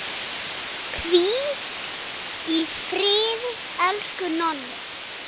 Hvíl í friði, elsku Nonni.